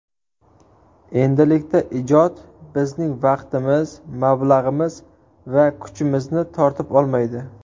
Endilikda ijod bizning vaqtimiz, mablag‘imiz va kuchimizni tortib olmaydi.